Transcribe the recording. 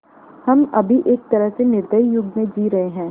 हम अभी एक तरह से निर्दयी युग में जी रहे हैं